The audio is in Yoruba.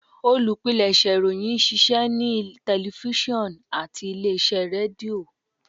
Olupilẹṣẹ ìròyìn n ṣiṣẹ ni tẹlifisiọnu ati ile-iṣẹ Redio